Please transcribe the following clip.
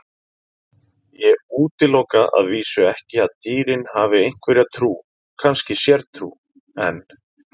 Ég útiloka að vísu ekki að dýrin hafi einhverja trú, kannski sértrú, en.